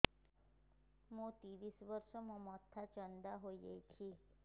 ମୋ ତିରିଶ ବର୍ଷ ମୋ ମୋଥା ଚାନ୍ଦା ହଇଯାଇଛି